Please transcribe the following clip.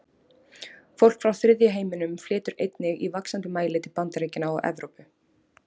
Fólk frá þriðja heiminum flytur einnig í vaxandi mæli til Bandaríkjanna og Evrópu.